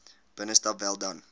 binnestap wel dan